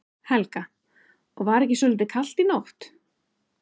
Helga: Og var ekki svolítið kalt í nótt?